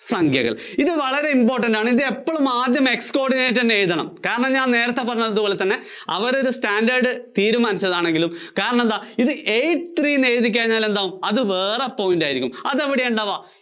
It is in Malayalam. സംഖ്യകള്‍. ഇത് വളരെ important ആണ്. ഇത് എപ്പോളും ആദ്യം x code ചെയ്തു തന്നെ എഴുതണം. കാരണം ഞാന്‍ നേരത്തെ പറഞ്ഞതുപോലെ തന്നെ അവരൊരു standard തീരുമാനിച്ചതാണെങ്കിലും കാരണമെന്താ ഇത് eight three എഴുതിയാല്‍ എന്താ? അത് വേറേ point ആയിരിയ്ക്കും.